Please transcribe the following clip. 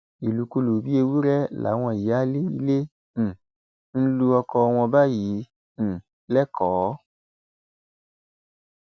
ìlúkulù bíi ewúrẹ làwọn ìyáálé ilé um ń lu ọkọ wọn báyìí um lẹkọọ